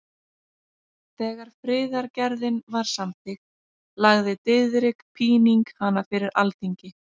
Þegar friðargerðin var samþykkt lagði Diðrik Píning hana fyrir Alþingi.